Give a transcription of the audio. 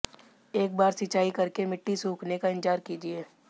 एक बार सिंचाई करके मिट्टी सूखने का इंतजार कीजिए